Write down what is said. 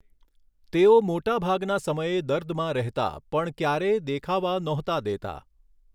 તેઓ મોટાભાગના સમયે દર્દમાં રહેતા પણ ક્યારેય દેખાવા નહોતા દેતા.